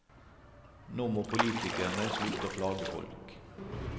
Nå må politikerne slutte å plage folk.